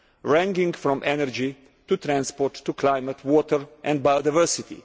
ranging from energy to transport to climate, water and biodiversity.